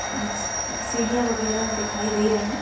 सी सीढ़ियाँ वागरा दिखाई दे रहे है।